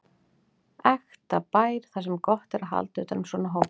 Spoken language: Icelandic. Ekta bær þar sem er gott að halda utan um svona hópa.